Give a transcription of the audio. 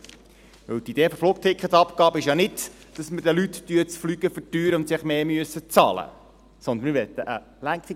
Die Idee der Flugticketabgabe ist nicht, dass wir den Leuten das Fliegen verteuern und sie mehr bezahlen müssen, sondern wir möchten eine Lenkungsabgabe.